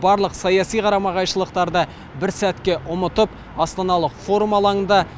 барлық саяси қарама қайшылықтарды бір сәтке ұмытып астаналық форум алаңында